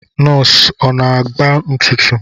Nọsi ọ na-agba ntụtụ?